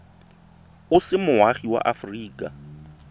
o se moagi wa aforika